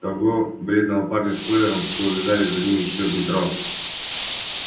того бледного парня с плеером что увязали за ним ещё в метро